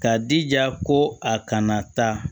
K'a jija ko a kana taa